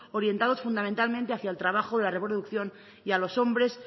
orientados fundamentalmente hacia el trabajo de la reproducción y a los hombres